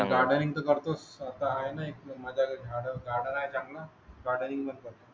चा करतोस आता आहे ना मजा कडे